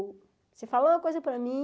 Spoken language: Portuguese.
Você falou uma coisa para mim...